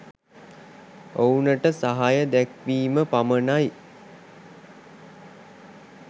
ඔවුනට සහාය දැක්වීම පමණයි.